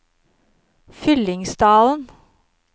Fyllingsdalen